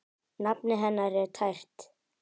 Nafnið hennar er tært.